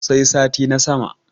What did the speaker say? sai sati na sama